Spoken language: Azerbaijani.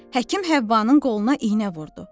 Həkim Həvvanın qoluna iynə vurdu.